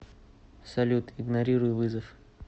салют игнорируй вызов